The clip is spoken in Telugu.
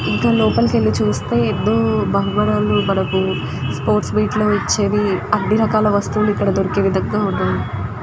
లోపలికి వెళ్లి చూస్తే ఏమో బంగారాలు మనకి స్పోర్ట్స్ వాటిలో ఇచేది అని రకాల వస్తువుల్లు ఇక్కడ మనకి దొరుకుతాయి.